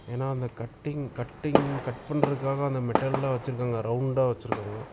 ஏன்னா அந்த cutting cutting cut பண்றதுக்காக அந்த மெட்டல்லாம் வச்சிருக்காங்க ரவுண்டா வச்சிருக்காங்க.